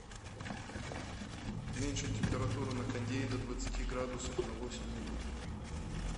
уменьшить температуру на кондее до двадцати градусов на восемь минут